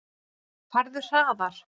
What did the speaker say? Farðu hraðar.